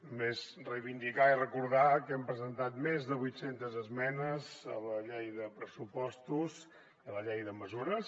només reivindicar i recordar que hem presentat més de vuit centes esmenes a la llei de pressupostos i a la llei de mesures